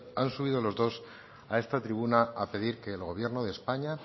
han subido los dos a esta tribuna a pedir que el gobierno de españa